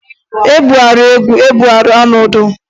E bugharịa egwu e bugharịa ọnọdụ.